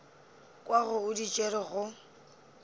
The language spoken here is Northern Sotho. kwago o di tšere go